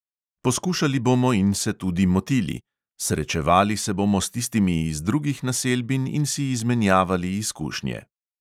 Poskušali bomo in se tudi motili, srečevali se bomo s tistimi iz drugih naselbin in si izmenjavali izkušnje.